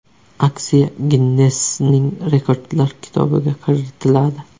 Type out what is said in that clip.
Aksiya Ginnessning rekordlar kitobiga kiritiladi.